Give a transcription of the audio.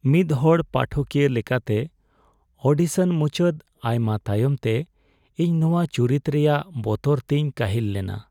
ᱢᱤᱫ ᱦᱚᱲ ᱯᱟᱴᱷᱚᱠᱤᱭᱟᱹ ᱞᱮᱠᱟᱛᱮ, ᱳᱰᱤᱥᱚᱱ ᱢᱩᱪᱟᱹᱫ ᱟᱭᱢᱟ ᱛᱟᱭᱚᱢ ᱛᱮ , ᱤᱧ ᱱᱚᱣᱟ ᱪᱩᱨᱤᱛ ᱨᱮᱭᱟᱜ ᱵᱚᱛᱚᱨ ᱛᱤᱧ ᱠᱟᱹᱦᱤᱞ ᱞᱮᱱᱟ ᱾